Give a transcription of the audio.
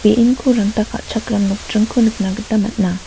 ranta ka·chakram nokdringko nikna gita man·a.